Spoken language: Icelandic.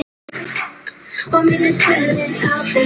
Hverjir fara með þau?